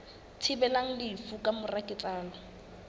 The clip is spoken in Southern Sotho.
thibelang lefu ka mora ketsahalo